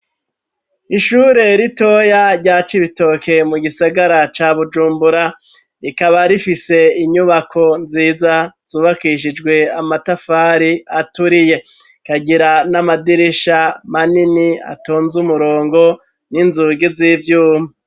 Ishure ritoya rya Cibitoke mu gisagara ca Bujumbura rikaba rifise inyubako nziza zubakishijwe amatafari aturiye kagira n'amadirisha manini atonze umurongo n'inzugi z'ivyuma.